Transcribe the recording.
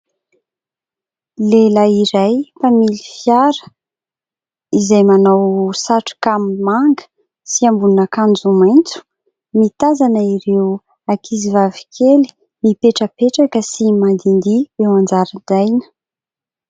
Lehilahy iray mpamily fiara izay manao satroka manga sy ambonin'akanjo maitso mitazana ireo ankizivavy kely mipetrapetraka sy mandihindihy eo an-jaridaina.